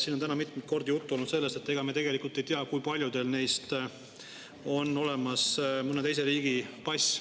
Siin on täna mitmeid kordi juttu olnud sellest, et ega me tegelikult ei tea, kui paljudel neist on olemas mõne teise riigi pass.